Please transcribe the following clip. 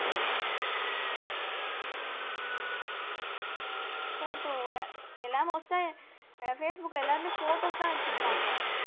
Photo வோட எல்லாம் most ah facebook ல எல்லாருமே photos எல்லாம் வச்சிருப்பாங்க